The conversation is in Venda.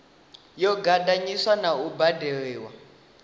yo ganḓiswa na u baindiwa